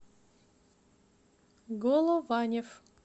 голованев